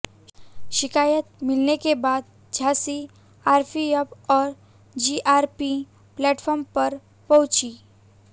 शिकायत मिलने के बाद झांसी आरपीएफ और जीआरपी प्लेटफार्म पर पहुंची